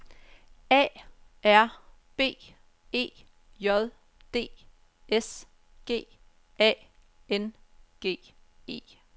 A R B E J D S G A N G E